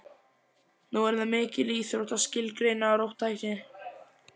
Nú er það mikil íþrótt að skilgreina róttækni.